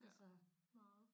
Ja meget